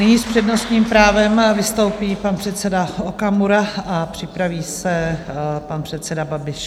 Nyní s přednostním právem vystoupí pan předseda Okamura a připraví se pan předseda Babiš.